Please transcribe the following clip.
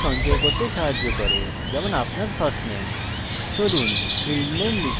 এটি সঞ্চয় করতে সাহায্য করে উদাহরণস্বরূপ আপনার firstname